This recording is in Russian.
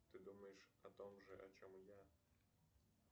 ты думаешь о том же о чем и я